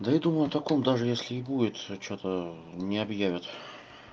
да я думаю о таком даже если и будет что-то не объявят